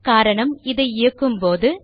காரணம் இதை இயக்கும்போது